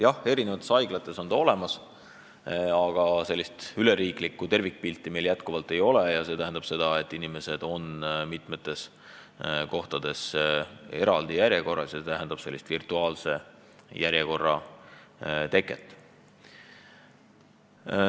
Jah, eri haiglates on see olemas, aga üleriiklikku tervikpilti meil jätkuvalt ei ole, seetõttu on inimesed mitmes kohas järjekorras ja see tähendab virtuaalse järjekorra teket.